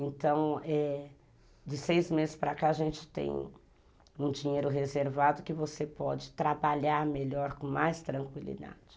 Então, eh, de seis meses para cá, a gente tem um dinheiro reservado que você pode trabalhar melhor, com mais tranquilidade.